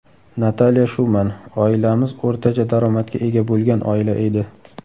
Natalya Shuman: Oilamiz o‘rtacha daromadga ega bo‘lgan oila edi.